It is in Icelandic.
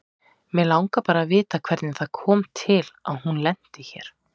Mig langar bara að vita hvernig það kom til að hún lenti hér.